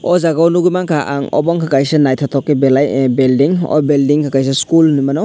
aw jaaga o nugui manka ang obo unka kaisa nythotok ke belai building aw building o kaisa school henaimano.